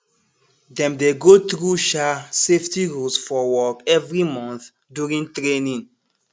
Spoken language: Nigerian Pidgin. dem dey go through um safety rules for work every month during training